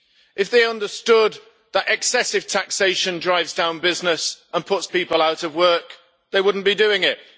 If they understood that excessive taxation drives down business and puts people out of work, they would not be doing it.